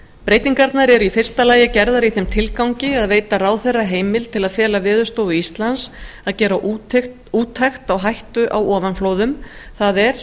breytingarnar eru í fyrsta lagi gerðar í þeim tilgangi að veita ráðherra heimild til að fela veðurstofu íslands að gera úttekt á hættu á ofanflóðum það er